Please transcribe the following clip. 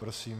Prosím.